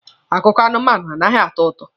Akụkọ anụmanụ anaghị atọ ụtọ.